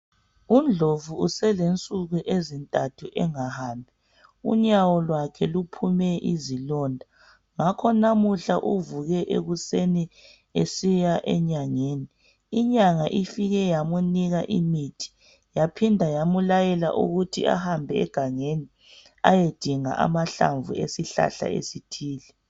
UNdlovu uselensuku ezintathu engahambi ,unyawo lwakhe luphume izilonda. Ngakho namuhla uvuke ekuseni esiya enyangeni. Inyanga ifike yamunika imithi yaphinda yamlayela ukuthi ahambe engangeni ayedinga amahlamvu esihlahla esithile.